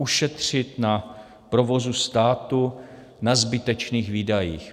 Ušetřit na provozu státu na zbytečných výdajích.